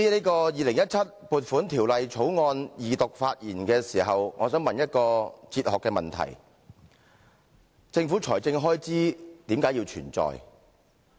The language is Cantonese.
在《2017年撥款條例草案》二讀辯論發言中，我想問一些公共財政管理哲學問題：政府財政開支為甚麼要存在？